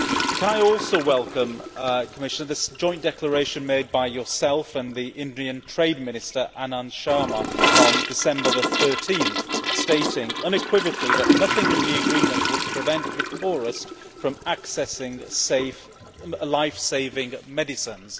Can I also welcome, Commissioner, this joint declaration made by you and the Indian Trade Minister, Anand Sharma, on 13 December 2010 stating unequivocally that nothing in the agreement would prevent the poorest from accessing life saving medicines.